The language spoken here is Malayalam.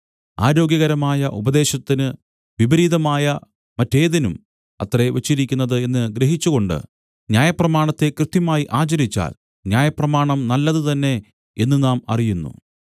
ആരോഗ്യകരമായ ഉപദേശത്തിന് വിപരീതമായ മറ്റേതിനും അത്രേ വച്ചിരിക്കുന്നത് എന്നു ഗ്രഹിച്ചുകൊണ്ട് ന്യായപ്രമാണത്തെ കൃത്യമായി ആചരിച്ചാൽ ന്യായപ്രമാണം നല്ലതു തന്നെ എന്നു നാം അറിയുന്നു